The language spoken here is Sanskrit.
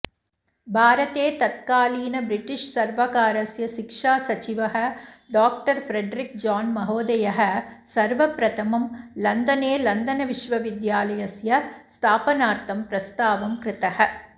भारते तत्कालीन व्रिटिश सर्वकारस्य शिक्षासचिवः डाॅ फ्रेडरिक जाॅन् महोदयः सर्वप्रथमं लंदने लंदनविश्वविद्यालयस्य स्थापनार्थं प्रस्तावं कृतः